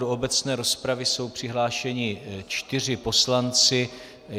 Do obecné rozpravy jsou přihlášeni čtyři poslanci.